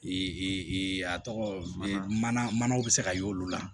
a tɔgɔ mana mana bɛ se ka y'olu la